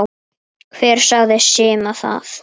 Hver sagði Simma það?